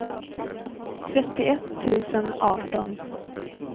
trettioett tusen arton